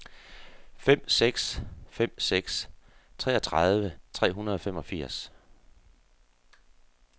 fem seks fem seks treogtredive tre hundrede og femogfirs